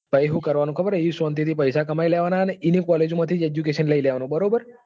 ત્યાં શાંતિ થી પૈસા કમાઈ લેવા નાં અને એની એ જ college માંથી education લઇ લેવા નું. બરાબર.